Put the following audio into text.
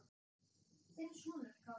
Þinn sonur Kári.